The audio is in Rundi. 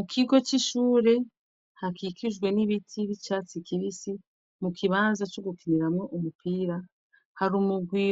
Ikigo cishure hakikijwe nibiti cicatsi kibisi kukibanza cogukiniramwo umupira hari umurwi